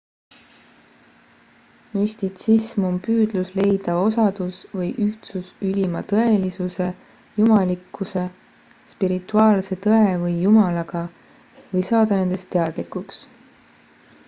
müstitsism on püüdlus leida osadus või ühtsus ülima tõelisuse jumalikkuse spirituaalse tõe või jumalaga või saada nendest teadlikuks